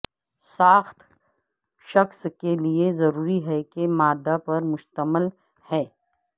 ساخت شخص کے لئے ضروری ہے کہ مادہ پر مشتمل ہے